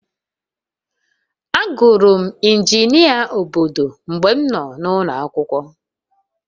Agụrụ m injinia obodo mgbe m nọ n'ụlọ akwụkwọ